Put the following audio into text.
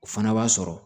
O fana b'a sɔrɔ